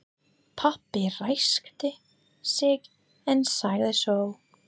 Pabbi ræskti sig en sagði svo